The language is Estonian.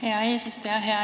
Hea eesistuja!